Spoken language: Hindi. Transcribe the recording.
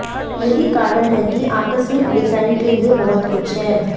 यही कारण है कि आकस्मिक डिजाइन के लिए बहुत कुछ है